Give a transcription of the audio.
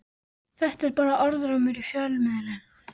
Þetta er bara orðrómur í fjölmiðlum.